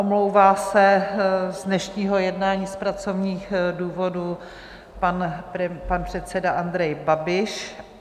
Omlouvá se z dnešního jednání z pracovních důvodů pan předseda Andrej Babiš.